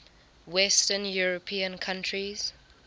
western european countries